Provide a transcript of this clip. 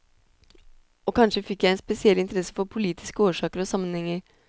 Og kanskje fikk jeg en spesiell interesse for politiske årsaker og sammenhenger.